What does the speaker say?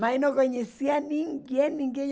Mas eu não conhecia ninguém, ninguém.